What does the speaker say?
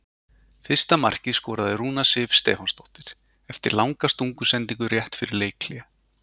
Fyrsta markið skoraði Rúna Sif Stefánsdóttir eftir langa stungusendingu rétt fyrir leikhlé.